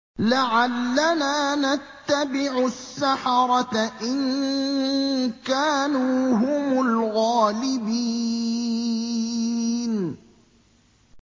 لَعَلَّنَا نَتَّبِعُ السَّحَرَةَ إِن كَانُوا هُمُ الْغَالِبِينَ